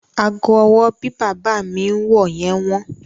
Ago ọwọ́ bí bàbá mi ń wọ yẹn wọ́n.